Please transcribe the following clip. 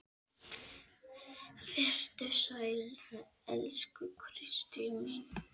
Vertu sæl, elsku Kristín mín.